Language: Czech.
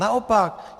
Naopak.